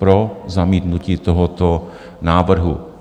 Pro zamítnutí tohoto návrhu.